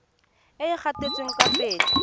e e gatetseng kwa pele